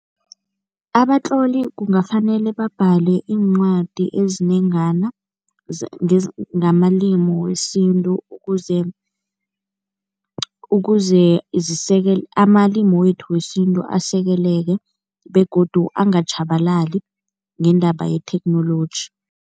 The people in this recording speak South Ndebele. Abatloli kungafanele babhadale iincwadi ezinengana ngamalimu wesintu, ukuze ukuze amalimu wethu wesintu asekeleke begodu angatjhabalali ngendaba yetheknoloji.